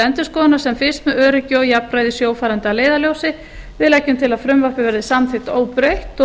endurskoðunar sem fyrst með öryggi og jafnræði sjófarenda að leiðarljósi við leggjum til að frumvarpið verði samþykkt óbreytt